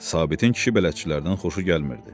Sabitin kişi bələdçilərindən xoşu gəlmirdi.